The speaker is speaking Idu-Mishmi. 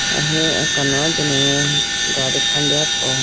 ahi akano dunu mai gadi khande po.